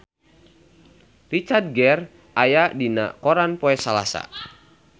Richard Gere aya dina koran poe Salasa